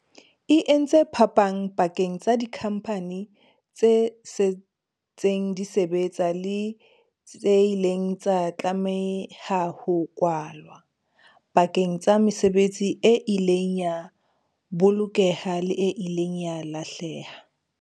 E entse phapang pakeng tsa dikhampani tse setseng di sebetsa le tse ileng tsa tlameha ho kwalwa, pakeng tsa mesebetsi e ileng ya bolokeha le e ileng ya lahleha.